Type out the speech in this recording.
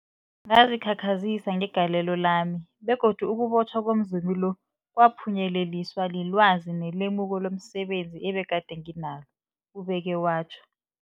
Ngazikhakhazisa ngegalelo lami, begodu ukubotjhwa komzumi lo kwaphunyeleliswa lilwazi nelemuko lomse benzi ebegade nginalo, ubeke watjho.